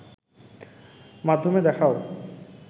মাধ্যমে দেখাও